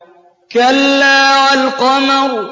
كَلَّا وَالْقَمَرِ